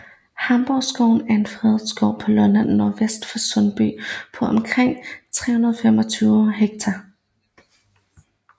Hamborgskoven er en fredskov på Lolland nordvest for Sundby på omkring 325 ha